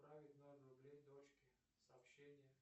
отправить ноль рублей дочке сообщение